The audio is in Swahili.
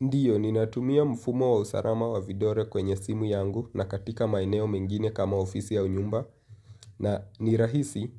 Ndiyo, ninatumia mfumo wa usarama wa vidore kwenye simu yangu na katika maeneo mengine kama ofisi au nyumba na nirahisi